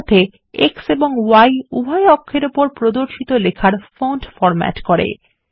সেইসাথে X এবং Y উভয় অক্ষর উপর প্রদর্শিত লেখার ফন্ট ফরম্যাট করে